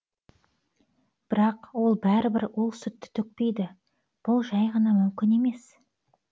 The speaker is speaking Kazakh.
бірақ ол бәрібір ол сүтті төкпейді бұл жәй ғана мүмкін емес